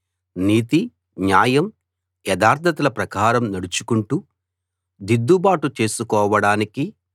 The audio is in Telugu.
నీతి న్యాయం యథార్థతల ప్రకారం నడుచుకుంటూ దిద్దుబాటు చేసుకోవడానికి